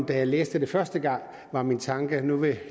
da jeg læste det første gang var min tanke at nu vil